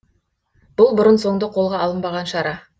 бұл бұрын соңды қолға алынбаған шара